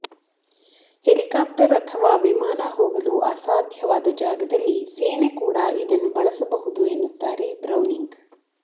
helicopter ಅಥವಾ ವಿಮಾನ ಹೋಗಲು ಅಸಾಧ್ಯವಾದ ಜಾಗದಲ್ಲಿ ಸೇನೆ ಕೂಡ ಇದನ್ನು ಬಳಸಬಹುದು ಎನ್ನುತ್ತಾರೆ ಬ್ರೌನಿಂಗ್